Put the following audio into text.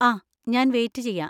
ആ, ഞാൻ വെയിറ്റ് ചെയ്യാ.